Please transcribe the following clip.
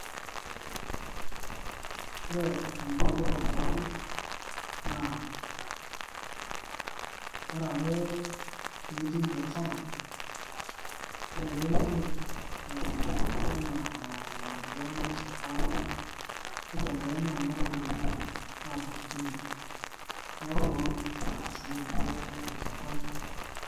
ore eniko tenibelekenya naa ore ake piitii biashara ore piimirr ntokitin enaa majani esukari nibelekenya kuna ropiyiani aaku kumok niaku noo nkardasini aa mia enchata.